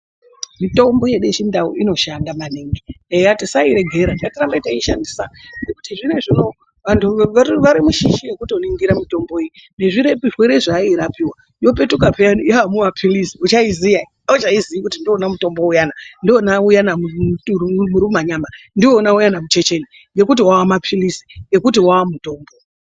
Mitombo yedu yechindau inoshanda maningi eya tisairegera ngatirambe tichiishandisa nekuti zvinezvi unowu vantu vari mushishi yekutoningira mitombo iyi nezvirwere zvayairapiwa yopetuka peyani yamumaphilizi uchauziya ere? Auchaizii kuti ndiwona mutombo uyana, ndiwona uyana murumanyama , ndiwona uyana muchecheni ngekuti wamaphilizi, ngekuti wamutombo.